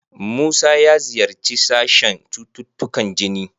Musa ya ziyarci sashen cututtukan jini.